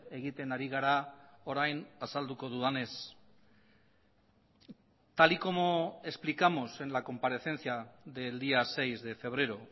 egiten ari gara orain azalduko dudanez tal y como explicamos en la comparecencia del día seis de febrero